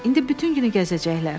İndi bütün günü gəzəcəklər.